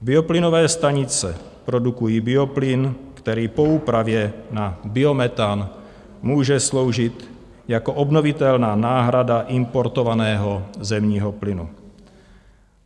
Bioplynové stanice produkují bioplyn, který po úpravě na biometan může sloužit jako obnovitelná náhrada importovaného zemního plynu.